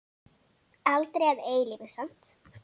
Aldrei að eilífu.